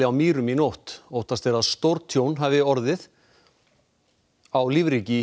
á Mýrum í nótt óttast er að stórtjón hafi orðið á lífríki í